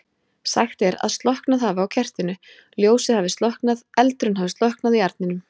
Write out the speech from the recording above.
Sagt er að slokknað hafi á kertinu, ljósið hafi slokknað, eldurinn hafi slokknað í arninum.